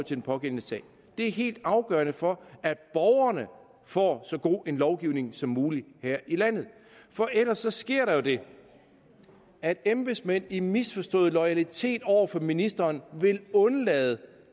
den pågældende sag er helt afgørende for at borgerne får så god en lovgivning som muligt her i landet for ellers sker der jo det at embedsmænd i misforstået loyalitet over for ministeren vil undlade